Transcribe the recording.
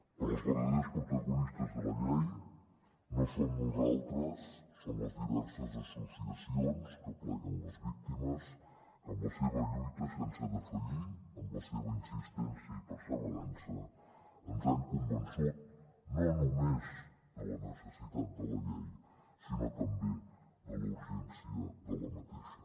però els verdaders protagonistes de la llei no som nosaltres són les diverses associacions que apleguen les víctimes que amb la seva lluita sense defallir amb la seva insistència i perseverança ens han convençut no només de la necessitat de la llei sinó també de la urgència d’aquesta